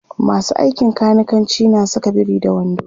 masu aikin kanikanci na Saka biri da wando